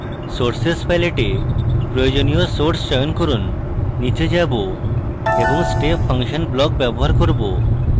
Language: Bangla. sources palette এ প্রয়োজনীয় sources চয়ন করুন নীচে যাবো এবং step function block ব্যবহার করব